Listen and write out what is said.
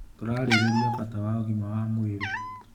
Tũrarĩrĩria bata wa ũgima wa mwĩrĩ.